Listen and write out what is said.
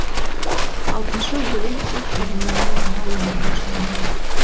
алтыншы өлең уһ дүние ай мына өмірден шынымен кеткен бе